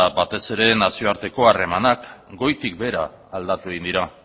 batez ere nazioarteko harremanak goitik behera aldatu egin dira